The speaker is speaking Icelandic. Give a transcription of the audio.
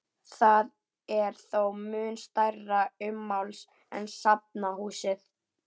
Það er þó mun stærra ummáls en safnahúsið.